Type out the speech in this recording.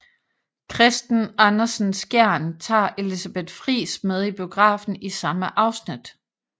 Kristen Andersen Skjern tager Elisabeth Friis med i biografen i samme afsnit